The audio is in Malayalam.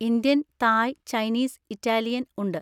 ഇന്ത്യൻ, തായ്, ചൈനീസ്, ഇറ്റാലിയൻ ഉണ്ട്.